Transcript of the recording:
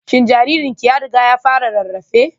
Shin jaririnki ya riga ya fara rarrafe?